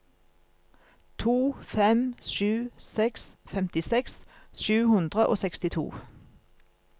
to fem sju seks femtiseks sju hundre og sekstito